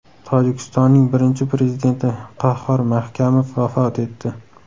Tojikistonning birinchi prezidenti Qahhor Mahkamov vafot etdi.